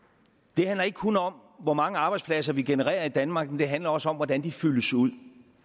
det handler ikke kun om hvor mange arbejdspladser vi genererer i danmark det handler også om hvordan de fyldes ud